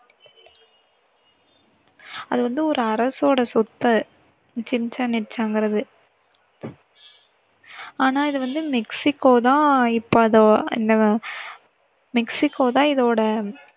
அது வந்து ஒரு அரசோட சொத்து. சிச்சென் இட்சாங்குறது. ஆனா இது வந்து மெக்சிகோ தான் இப்போ அதை இந்த மெக்சிகோ தான் இதோட